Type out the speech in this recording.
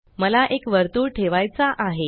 मला एक वर्तुळ ठेवायचा आहे